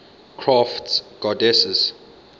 crafts goddesses